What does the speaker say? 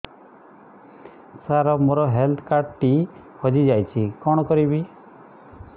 ସାର ମୋର health card ଟି ହଜି ଯାଇଛି କଣ କରିବି